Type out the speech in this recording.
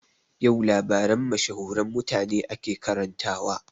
Yau labaran mashahuran mutane ake karantawa